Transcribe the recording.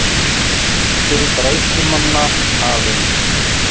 Fundur bræðslumanna hafinn